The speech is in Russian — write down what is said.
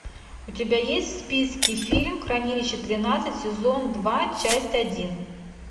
у тебя есть в списке фильм хранилище тринадцать сезон два часть один